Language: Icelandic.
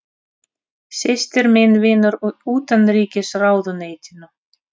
Systir mín vinnur í Utanríkisráðuneytinu.